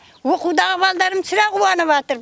оқудағы балаларым сірә қуаныватыр